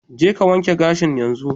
Je ka wanke gashin yanzu!